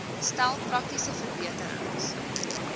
stel praktiese verbeterings